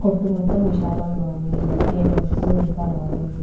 కొట్టు మొత్తం విశాలంగా ఉంది ఏ మనుషులు ఇంకా రాలేదు.